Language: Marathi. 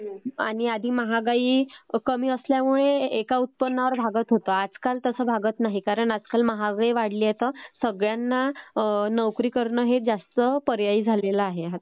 आणि आधी महागाई कमी असल्यामुळे एका उत्पन्नावर भागत होतं आजकाल तसं भागत नाही, कारण आजकाल महागाई वाढली आहे त्यामुळे सगळ्यांना नोकरी करणे हे जास्त पर्यायी झालेलं आहे आजकाल